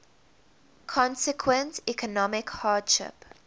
consequent economic hardship